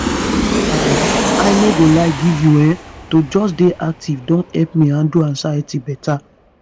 i i no go lie give you[um]to just dey active don help me handle anxiety better.